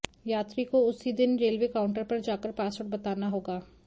यात्री को उसी दिन रेलवे काउंटर पर जाकर पासवर्ड बताना होगा